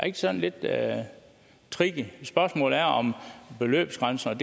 ikke sådan lidt tricky spørgsmålet er om beløbsgrænserne